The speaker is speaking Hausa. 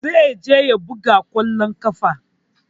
Zai je ya buga ƙwallon ƙafa.